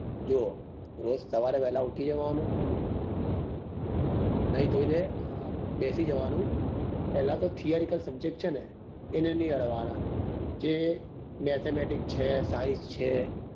જોવો રોજ સવારે વેલા ઉઠી જવા નું નાઈ ધોઈ ને બેસી જવા નું પેલા તો theory cal subject છે ને એને નહિ અડવા ના જે mathematics ચ્જે science છે